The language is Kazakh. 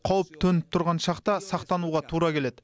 қауіп төніп тұрған шақта сақтануға тура келеді